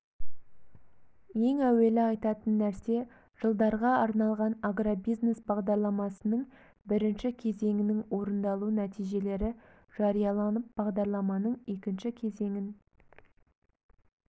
ең әуелі айтатын нәрсе жылдарға арналған агробизнес бағдарламасының бірінші кезеңінің орындалу нәтижелері жарияланып бағдарламаның екінші кезеңін